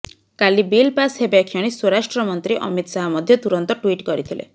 କାଲି bill pass ହେବା କ୍ଷଣି ସ୍ୱରାଷ୍ଟ୍ର ମନ୍ତ୍ରୀ ଅମିତ ଶାହ ମଧ୍ୟ ତୁରନ୍ତ ଟ୍ୱିଟ୍ କରିଥିଲେ